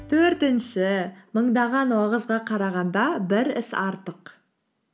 төртінші мыңдаған уағызға қарағанда бір іс артық